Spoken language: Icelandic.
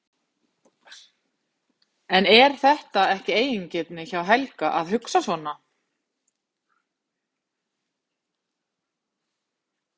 En er þetta ekki eigingirni hjá Helga að hugsa svona?